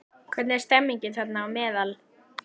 Hvernig er stemmingin þeirra á meðal?